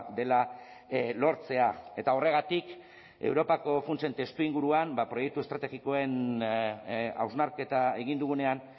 dela lortzea eta horregatik europako funtsen testuinguruan proiektu estrategikoen hausnarketa egin dugunean